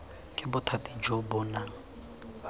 ke bothati jo bo nang